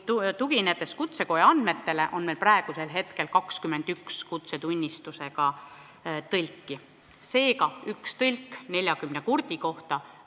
Tuginedes kutsekoja andmetele, on meil praegu 21 kutsetunnistusega tõlki, seega üks tõlk 40 kurdi inimese kohta.